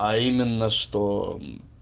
а именно что